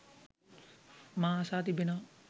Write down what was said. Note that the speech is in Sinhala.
මා අසා තිබෙනවා